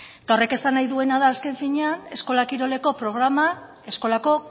eta horrek esan nahi duena da azken finean eskola kiroleko programa eskolako